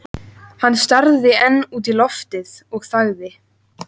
Hann starði enn út í loftið og þagði.